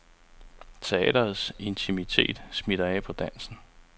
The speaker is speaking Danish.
Teatrets intimitet smitter af på dansen.